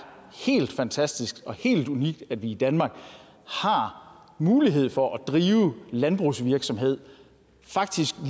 helt fantastisk og helt unikt at vi i danmark har mulighed for faktisk at drive landbrugsvirksomhed